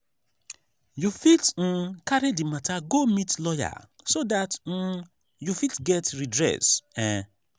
you fit um carry the matter go meet lawyer so dat um you fit get redress um